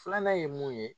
Filanan ye mun ye